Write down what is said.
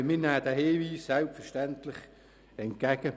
Aber wir nehmen den Hinweis selbstverständlich entgegen.